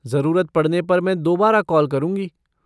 ज़रूरत पड़ने पर मैं दोबारा कॉल करूँगी।